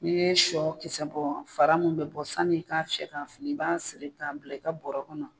N'i ye shɔ kisɛ bɔ fara min bɛ bɔ sanni i k'a cɛ k'a fili i b'a siri k'a bila i ka bɔɔrɔ kɔnɔ.